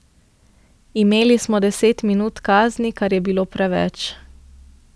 Imeli smo deset minut kazni, kar je bilo preveč.